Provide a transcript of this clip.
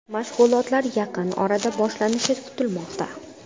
Mashg‘ulotlar yaqin orada boshlanishi kutilmoqda.